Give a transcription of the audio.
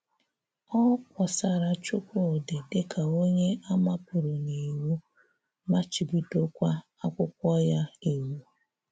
Ọ̀ kpọ́sàrà Chúkwúdị̀ dị ka onye à mápụ̀rà n’ìwù, machibí̄dókwa àkwụ́kwọ̀ ya ìwù.